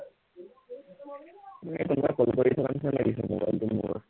এৰ কোনোবাই call কৰি থকা নিচিনা লাগিছে মোবাইলটো মোৰ